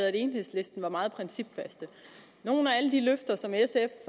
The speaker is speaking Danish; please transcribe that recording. at enhedslisten er meget principfaste nogle af de løfter